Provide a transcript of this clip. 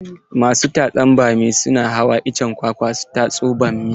Masu tatsan bami na hawa icen kwakwa su tatso bammi.